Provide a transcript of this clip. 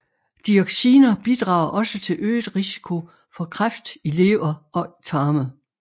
Dioxiner bidrager også til øget risiko for kræft i lever og tarme